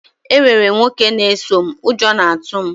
Enwere m nwoke a na-eso m, ụjọ na-atụ m